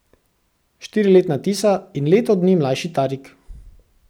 Štiriletna Tisa in leto dni mlajši Tarik.